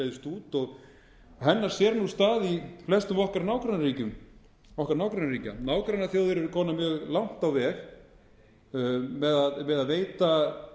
breiðst út hennar sér stað í flestum okkar nágrannaríkjum nágrannaþjóðir okkar eru komnar mjög langt á veg með að veita